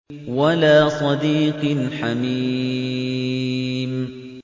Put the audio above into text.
وَلَا صَدِيقٍ حَمِيمٍ